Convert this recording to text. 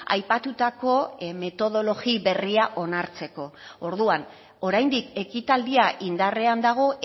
aipatutako metodologia berria onartzeko orduan oraindik ekitaldia indarrean dago